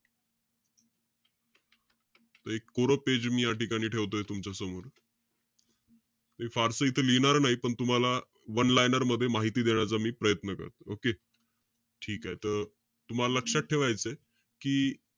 त एक कोरं page मी या ठिकाणी ठेवतोय तुमच्यासमोर. मी फारसं इथे लिहिणार नाही. तुम्हाला one liner मध्ये माहिती देण्याचा मी प्रयत्न करतो. Okay. ठीकेय. त तुम्हाला लक्षात ठेवायचंय कि,